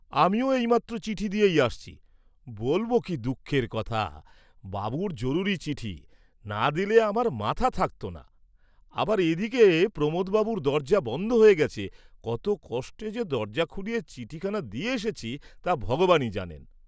আমিও এইমাত্র চিঠি দিয়েই আসছি, বলব কি দুঃখের কথা, বাবুর জরুরী চিঠি, না দিলে আমার মাথা থাকতো না, আবার এদিকে প্রমোদ বাবুর দরজা বন্ধ হয়ে গেছে, কত কষ্ট যে দরজা খুলিয়ে চিঠিখানা দিয়ে এসেছি তা ভগবানই জানেন।